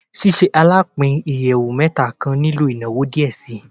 Ṣiṣe alapin iyẹwu mẹta kan nilo inawo diẹ sii